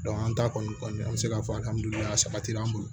an ta kɔni an mi se k'a fɔ saba sabatira an bolo